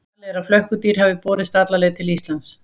Talið er að flökkudýr hafi borist alla leið til Íslands.